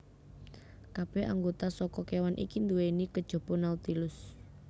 Kabeh anggota saka kewan iki duwéni kejaba Nautilus